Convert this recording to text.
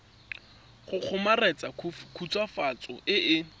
go kgomaretsa khutswafatso e e